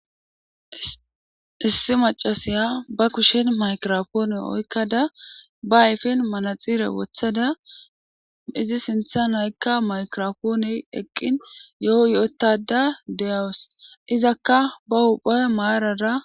Issi macasaya ba kushshen maykiropoone oykkada ba ayfen manatsire wotada izi sintta nayikka maykiropoonee eqqin yo"o yo'ottada deyawus izakka ba huphphe maarara.